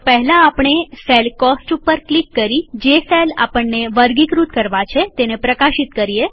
તો પહેલાઆપણે cell cost ઉપર ક્લિક કરી જે સેલ આપણને વર્ગીકૃત કરવા છે તેને પ્રકાશિત કરીએ